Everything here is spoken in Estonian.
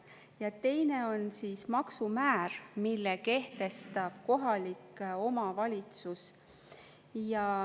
Ja teine on maksumäär, mille kehtestab kohalik omavalitsus.